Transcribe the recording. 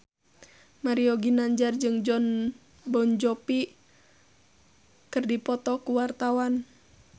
Mario Ginanjar jeung Jon Bon Jovi keur dipoto ku wartawan